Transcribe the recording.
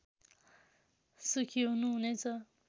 सुखी हुनु हुनेछ